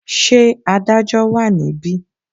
Ṣé Adájọ́ wa ni ibi?